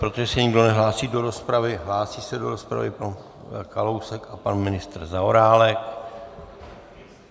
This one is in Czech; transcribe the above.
Protože se nikdo nehlásí do rozpravy - hlásí se do rozpravy pan Kalousek a pan ministr Zaorálek.